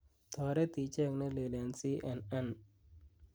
toret icheng' nelel en c.n.n